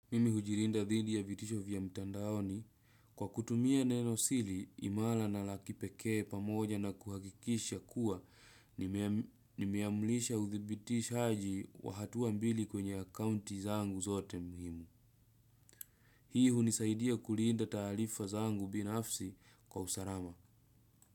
Mimi hujirinda dhidi ya vitisho vya mtandaoni kwa kutumia neno sili imala na lakipeke pamoja na kuhakikisha kuwa nimeamulisha uthibitishaji wa hatuwa mbili kwenye accounti zangu zote mhimu. Hii hunisaidia kulinda talifa zangu binafsi kwa usarama.